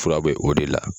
Fura bɛ o de la